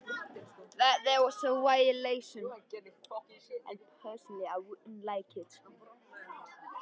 Í hvert sinn sem ég bauð henni að kíkja kom hún með blóm.